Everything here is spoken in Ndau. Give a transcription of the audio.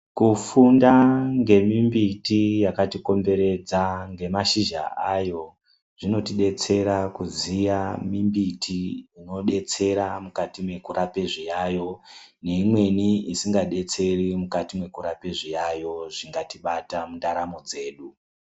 Kufunda ngemimbiti yakati komberedza ngemazhizha ayo zvinotidetsera kuziya mimbiti inodetsera mukati mekurape zviyayo neimweni isingadetseri mukati mekurapa zviyayo zvingatibata mundaramo dzedu.